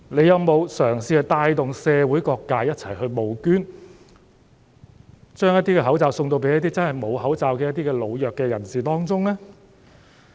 有否嘗試帶動社會各界一起募捐，將一些口罩發送給一些真正缺乏口罩的老弱人士呢？